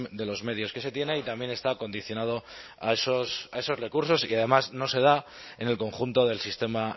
de los medios que se tiene y también está condicionado a esos recursos y que además no se da en el conjunto del sistema